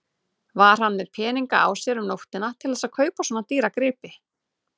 Var hann með peninga á sér um nóttina til þess að kaupa svona dýran grip?